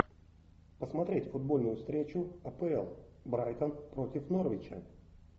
посмотреть футбольную встречу апл брайтон против норвича